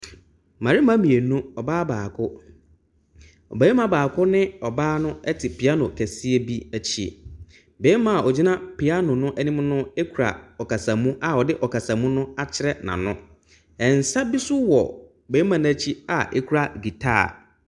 Mmarima mmienu ɔbaa baako. Ↄbarima baako ne ɔbaa no te piano kɛseɛ bi akyi. Barima a ɔgyina piano no anim no kura ɔkasamu a ɔde ɔkasamu no akyerɛ n’ano. Nsa bi nso wɔ barima no akyi a ɛkura guitar.